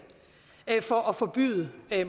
for at forbyde